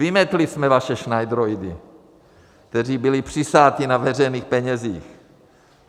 Vymetli jsme vaše šnajdroidy, kteří byli přisáti na veřejných penězích.